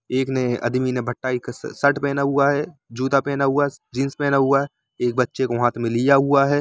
एक ने आदमी ने शर्ट पहना हुआ है जूता पहना हुआ है जीन्स पहना हुआ है एक बच्चे को हाथ में लिया हुआ है।